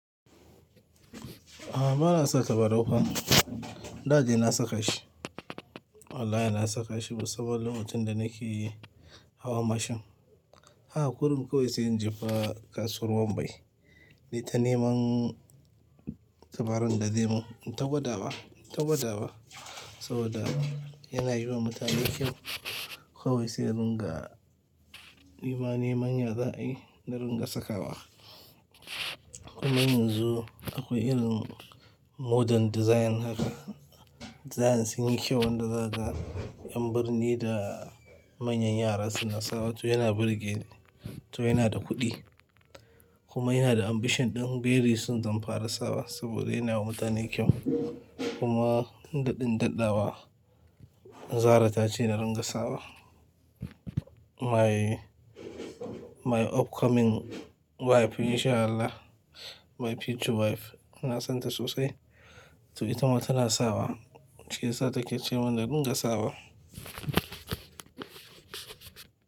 Aa bana sa tabarau fa da dai na saka shi. Wallahi na saka shi saboda lokacin da nake hawa mashin. Haka kurun kawai sai in je fa kasuwar Wambai. Nai ta ne man tabaran da zemun, in ta gwadawa in ta gwadawa saboda yana yi wa mutane kyau. Kawai sai na ringa nima nema ya za'ayi na ringa sakawa. Kuma yanzu akwai irin modern design haka. Design sun yi kyau wanda zakaga yan birni da manyan yara suna sawa to yana burge to yana da kuɗi. Kuma ina da ambition ɗin very soon zanfara sawa saboda yana wa mutane kyau. Kuma daɗin daɗawa, Zara ta ce na ringa sawa. Kuma ina da ambition ɗin very soon zanfara sawa saboda yana wa mutane kyau. To itama tana sa wa shiyasa take ceman na ringa sawa.